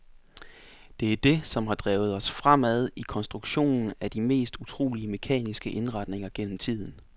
Det er det, som har drevet os fremad i konstruktionen af de mest utrolige mekaniske indretninger gennem tiden.